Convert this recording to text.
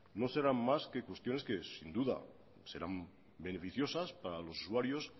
no serán más que cuestiones que sin duda serán beneficiosas para los usuarios